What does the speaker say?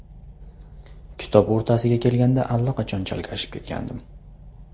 Kitob o‘rtasiga kelganda allaqachon chalkashib ketgandim.